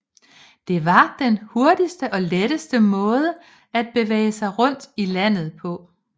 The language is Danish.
Det var den hurtigste og letteste måde at bevæge sig rundt i landet på